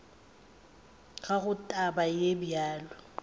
ga go taba ye bjalo